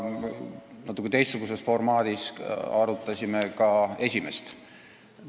Natukene teistsuguses formaadis arutasime ka esimest.